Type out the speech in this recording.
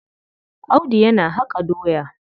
Audu yana haƙa doya.